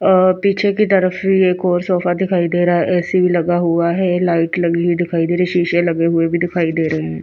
अ पीछे की तरफ भी एक और सोफा दिखाई दे रहा है ऐ_सी लगा हुआ है लाइट लगी हुई दिखाई दे रही शीशे लगे हुए भी दिखाई दे रहे हैं।